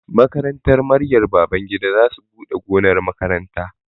Makarantar Maryam Babangida za su buɗe gonar makaranta